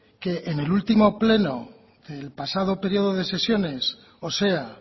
que en el último pleno del pasado periodo de sesiones o sea